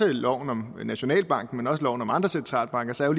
loven om nationalbanken men også loven om andre centralbanken så er